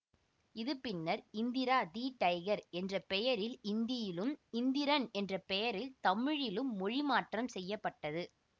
இது பின்னர் Indra the Tiger என்ற பெயரில் இந்தியிலும் இந்திரன் என்ற பெயரில் தமிழிலும் மொழிமாற்றம் செய்ய பட்டது